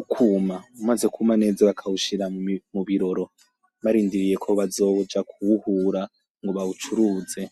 ukwuma umaze kwuma neza bakawushira mu biroro barindiriyeko bazoja kuwuhura ngo bawucuruze.